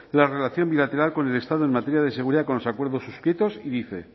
la relación bilateral con el estado en materia de seguridad con los acuerdos suscritos y dice